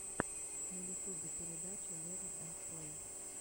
на ютубе передача лерн энд плэй